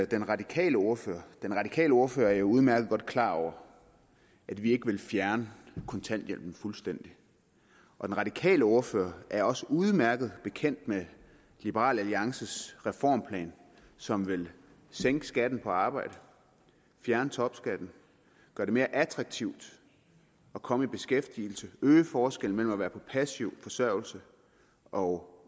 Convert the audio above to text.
den radikale ordfører den radikale ordfører er jo udmærket godt klar over at vi ikke vil fjerne kontanthjælpen fuldstændig og den radikale ordfører er også udmærket bekendt med liberal alliances reformplan som vil sænke skatten på arbejde fjerne topskatten gøre det mere attraktivt at komme i beskæftigelse og øge forskellen mellem at være på passiv forsørgelse og